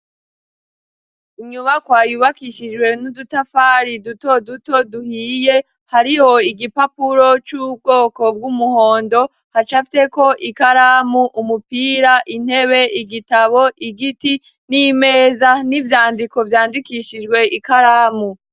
Inyubakwa yubakishijwe n'udutafari dutoduto duhiye hariho igipapuro c'ubwoko bw'umuhondo hacafyeko ikaramu, umupira, intebe, igitabo, igiti n'imeza n'ivyandiko vyandikishijwe ikaramu.